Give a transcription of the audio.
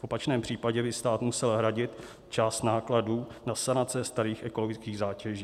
V opačném případě by stát musel hradit část nákladů na sanace starých ekologických zátěží.